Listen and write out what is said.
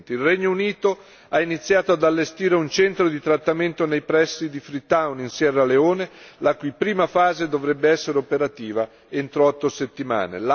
Il Regno Unito ha iniziato ad allestire un centro di trattamento nei pressi di Freetown, in Sierra Leone, la cui prima fase dovrebbe essere operativa entro otto settimane.